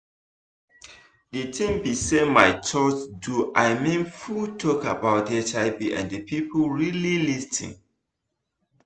the thing be saymy church do i mean full talk about hiv and people really lis ten